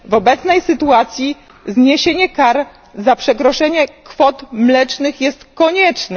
W obecnej sytuacji zniesienie kar za przekroczenie kwot mlecznych jest konieczne.